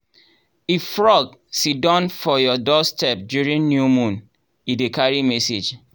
if frog siddon for your doorstep during new moon e dey carry message.